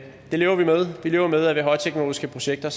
det lever vi med vi lever med at ved højteknologiske projekter